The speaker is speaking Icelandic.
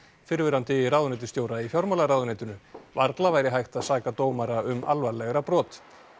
fyrrverandi ráðuneytisstjóra í fjármálaráðuneytinu varla væri hægt að saka dómara um alvarlegra brot